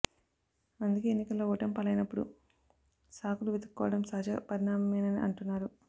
అందుకే ఎన్నికల్లో ఓటమి పాలైనప్పుడు సాకులు వెతుక్కోవడం సహజ పరిణామమేనని అంటున్నారు